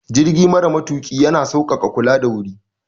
Jirgi mara matuƙi ya na sauƙaƙa kula da wuri.